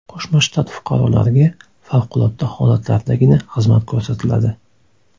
Qo‘shma Shtat fuqarolariga favqulodda holatlardagina xizmat ko‘rsatiladi.